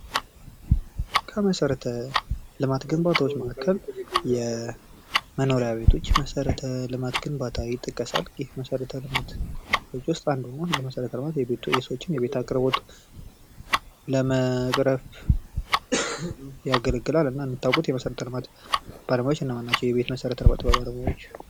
ከመሰረተ ልማት ግንባታዎች መካከል የመኖሪያ ቤቶች መሰረተ ልማት ግንባታ ይጠቀሳል ፤ ይህ መሰረተ ልማቶች ውስጥ አንዱ ነው። መሰረተ ልማት የሰዎችን የቤት አቅርቦት ለመቅረፍ ያገለግላል እና እንደምታውቁት የመሰረተ ልማት ባለሙያዎች እነማን ናቸው?